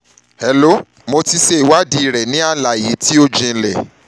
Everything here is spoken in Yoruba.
hello mo ti ṣe ìwádìí rẹ ní àlàyé tó jinlẹ̀